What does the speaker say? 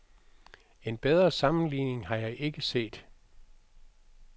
En bedre sammenligning har jeg ikke set.